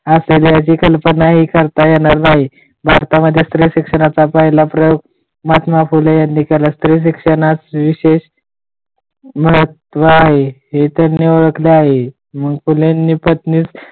आपल्याला त्याची कल्पनाही करता येणार नाही भारतामध्ये स्त्री शिक्षणाचा पहिला प्रयोग महात्मा फुले यांनी केला स्त्री शिक्षणाविषयीचे महत्त्व आहे हे त्यांनी ओळखले आहे मग त्यांनी पत्नीस